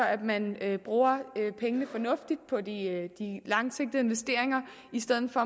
at man bruger pengene fornuftigt på de langsigtede investeringer i stedet for